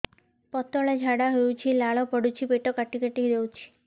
ପତଳା ଝାଡା ହଉଛି ଲାଳ ପଡୁଛି ପେଟ କାଟି କାଟି ଦଉଚି